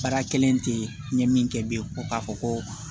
Baara kelen tɛ n ye min kɛ bilen ko k'a fɔ ko